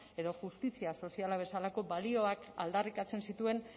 edo justizia soziala bezalako balioak aldarrikatzen zituen